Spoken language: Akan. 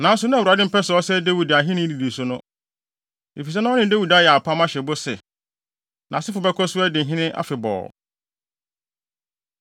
Nanso na Awurade mpɛ sɛ ɔsɛe Dawid ahenni nnidiso no, efisɛ na ɔne Dawid ayɛ apam ahyɛ bɔ sɛ, nʼasefo bɛkɔ so adi hene afebɔɔ.